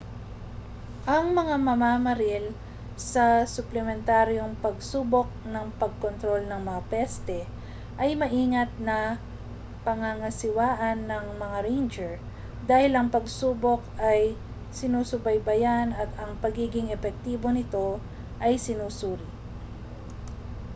ang mga mamamaril sa suplementaryong pagsubok ng pagkontrol ng mga peste ay maingat na pangangasiwaan ng mga ranger dahil ang pagsubok ay sinusubaybayan at ang pagiging epektibo nito ay sinusuri